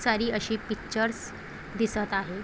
सारी अशी पिक्चर दिसत आहे.